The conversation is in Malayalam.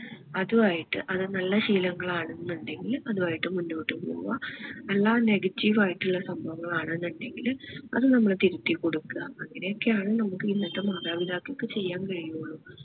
അതു ആയിട്ട് അത് നല്ല ശീലങ്ങൾ ആണ് എന്നുണ്ടെകിൽ അതുമായിട്ട് മുന്നോട്ടു പോവൂആ അല്ല negative ആയിട്ടുള്ള സംഭവങ്ങൾ ആണ് എന്നുണ്ടെങ്കിൽ അത് നമ്മള് തിരുത്തി കൊടുക്കുക അങ്ങനെ ഒക്കെ ആണ് നമുക്ക് ഇന്നത്തെ മാതാപിതാക്കൾക്ക് ചെയ്യാൻ കഴിയുള്ളു